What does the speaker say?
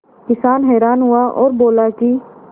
किसान हैरान हुआ और बोला कि